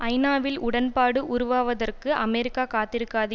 ஐநா வில் உடன்பாடு உருவாவதற்கு அமெரிக்கா காத்திருக்காது